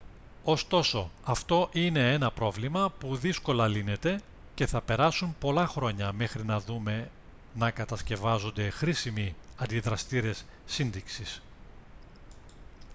ωστόσο αυτό είναι ένα πρόβλημα που δύσκολα λύνεται και θα περάσουν πολλά χρόνια μέχρι να δούμε να κατασκευάζονται χρήσιμοι αντιδραστήρες σύντηξης